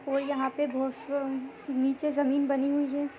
और यहाँ पे जमीन बनी हुई है।